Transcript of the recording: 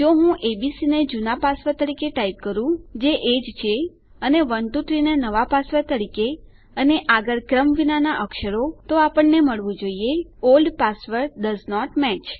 જો હું એબીસી ને જુના પાસવર્ડ તરીકે ટાઈપ કરું જે એ જ છે અને 123 ને નવા પાસવર્ડ તરીકે અને આગળ ક્રમવિનાના અક્ષરો તો આપણને મળવું જોઈએOld પાસવર્ડ ડોએસન્ટ મેચ